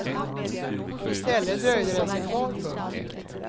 I stället dröjde den sig kvar. punkt